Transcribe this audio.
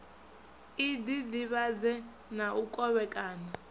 i ḓiḓivhadze na u kovhekana